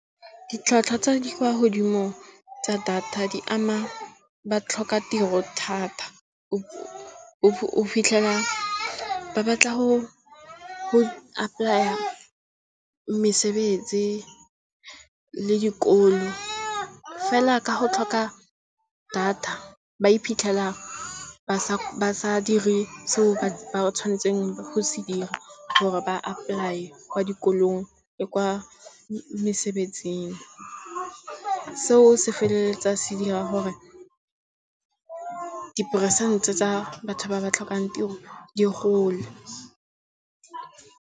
Ditlhwatlhwa tsa di kwa godimo tsa data di ama batlhokatiro thata. O fitlhela ba batla go apply-a mesebetsi le dikolo, fela ka go tlhoka data ba iphitlhela ba sa dire seo ba tshwanetseng go se dira, gore ba apply-e kwa dikolong le kwa mesebetsing. Seo se feleletsa se dira gore diperesente tsa batho ba ba tlhokang tiro di gole.